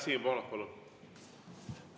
Siim Pohlak, palun!